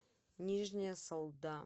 нижняя салда